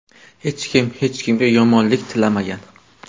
Hech kim hech kimga yomonlik tilamagan.